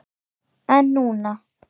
En núna.